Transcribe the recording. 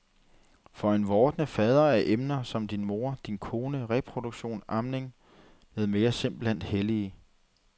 For en vordende fader er emner som din mor, din kone, reproduktion, amning med mere simpelthen hellige.